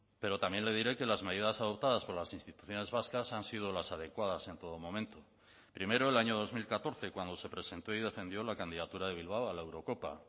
pero también le diré que las medidas adoptadas por las instituciones vascas han sido las adecuadas en todo momento primero el año dos mil catorce cuando se presentó y defendió la candidatura de bilbao a la eurocopa